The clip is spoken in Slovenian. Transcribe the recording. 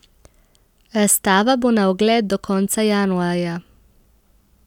Razstava bo na ogled do konca januarja.